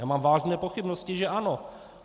Já mám vážné pochybnosti, že ano.